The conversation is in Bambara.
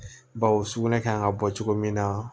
Bawo sugunɛ kan ka bɔ cogo min na